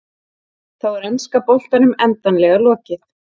Þá er enska boltanum endanlega lokið.